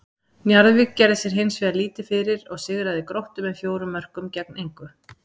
Njarðvík gerði sér hins vegar lítið fyrir og sigraði Gróttu með fjórum mörkum gegn engu.